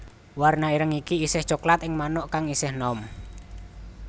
Warna ireng iki isih coklat ing manuk kang isih enom